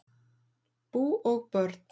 Bú og börn